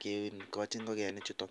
kigochi ngogenichuto.